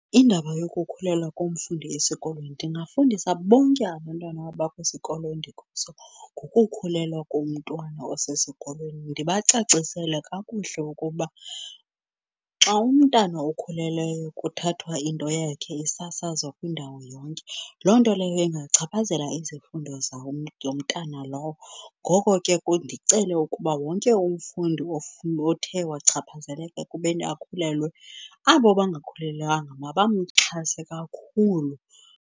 Indaba yokukhulelwa komfundi esikolweni ndingafundisa bonke abantwana abakwisikolo endikuso ngokukhulelwa komntwana osesikolweni, ndibacacisele kakuhle ukuba xa umntana okhulelweyo kuthathwa into yakhe isasazwa kwindawo yonke loo nto leyo ingachaphazela izifundo yomntana lowo. Ngoko ke ndicele ukuba wonke umfundi othe wachaphazeleka ekubeni akhulelwe, abo bangakhulelwanga mabamxhase kakhulu.